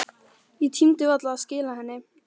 Ég tímdi varla að skila henni.